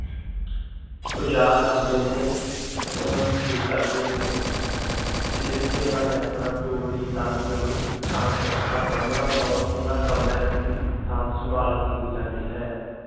ਔਜਾਰ ਹੁੰਦੇ ਨੇ ਓਹਨਾ ਨੂੰ ਠੀਕ ਕਰਦੇ ਨੇ ਤੇ ਜਿਥੇ ਓਹਨਾ ਨੇ ਆਪਣਾ ਤੂੜੀ, ਤੰਦ, ਕਣਕ, ਭੱਠਾ ਸਾਬਣਾ ਹੁੰਦਾ ਵਾ ਓਹਨਾ ਕਮਰਿਆ ਦੀ ਸਾਂਭ ਸੰਭਾਲ ਕੀਤੀ ਜਾਂਦੀ ਹੈ।